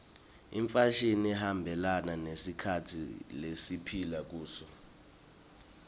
imfashini ihambelana nesikhatsi lesiphila kuso